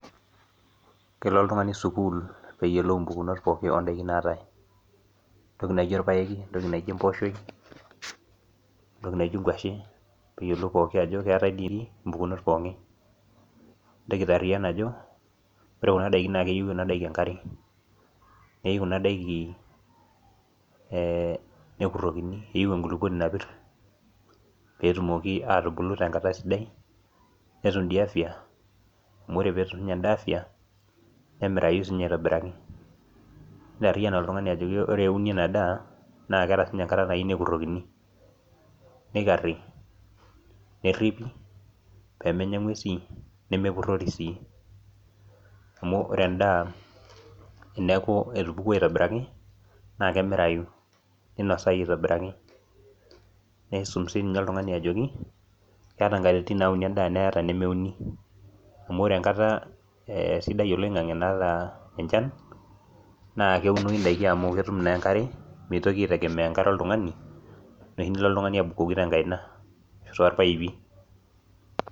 kelo oltngani sukuul, pee eyolou mpukunot pookin oodaiki naatae, entoki naijo orpaeki. entoki naijo emooshoi. entoki naijo enkwashe, pee eyiolou pooki ajo keetae mpuknot ookin. nintoki aitaariyian ajo, ore kuna daiki naa keyieu kuna daiki enkare. neyieu kuna daikin nekurokini. keyieu enkulupuoni napir, pee etumoki aatbulu tenkata sidai. netum ii afia. amu ore pee etum ninye edaa afia. nemirayu sii ninye aitobiraki. nitaaryian oltungani ajo ore euni ena daa, naa keeta sii ninye enkata nayieu nekurokini. nikari, neripi, pee menya nguesi nemepurori sii. amu ore edaa, teneeku etupukuo aitobiraki naa kemirayu. ninosayu aitobiraki. nisum sii ninye oltungani ajoki ,keeta nkatitin nauni eda, neeta inemeuni. amu ore e enkata sidai oloingange naata enchan. naa keunoi idiki amu, ketum naa enkare. mitoki aitegemea enkare oltungani. enoshi nilo oltungani abukoki te nkaina aashu irpaipi.